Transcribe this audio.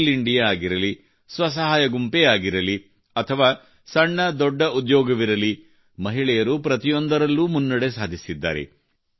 skill India ಆಗಿರಲಿ ಸ್ವ ಸಹಾಯ ಗುಂಪೇ ಆಗಿರಲಿ ಅಥವಾ ಸಣ್ಣ ದೊಡ್ಡ ಉದ್ಯೋಗವಿರಲಿ ಮಹಿಳೆಯರು ಪ್ರತಿಯೊಂದರಲ್ಲೂ ಮುನ್ನಡೆ ಸಾಧಿಸಿದ್ದಾರೆ